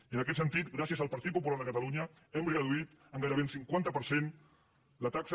i en aquest sentit gràcies al partit popular de catalunya hem reduït en gairebé un cinquanta per cent la taxa